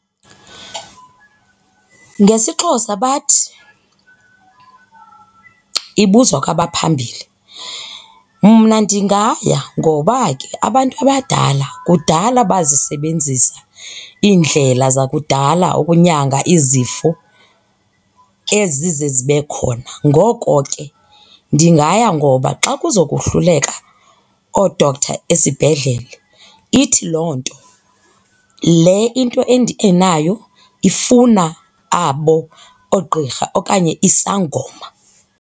NgesiXhosa bathi, ibuzwa kwabaphambili. Mna ndingaya ngoba ke abantu abadala kudala bazisebenzisa iindlela zakudala ukunyanga izifo ezize zibe khona. Ngoko ke ndingaya ngoba xa kuzokohluleka or oo-doctor esibhedlele ithi loo nto le into endinayo ifuna abo oogqirha okanye isangoma.